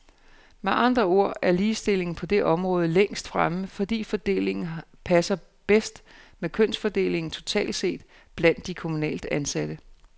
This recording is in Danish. Med andre ord er ligestillingen på det område længst fremme, fordi fordelingen her passer bedst med kønsfordelingen totalt set blandt de kommunalt ansatte.